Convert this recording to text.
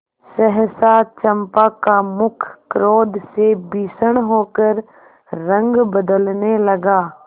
सहसा चंपा का मुख क्रोध से भीषण होकर रंग बदलने लगा